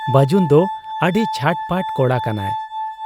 ᱵᱟᱹᱡᱩᱱ ᱫᱚ ᱟᱹᱰᱤ ᱪᱷᱟᱴᱯᱟᱴ ᱠᱚᱲᱟ ᱠᱟᱱᱟᱭ ᱾